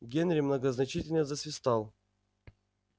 генри многозначительно засвистал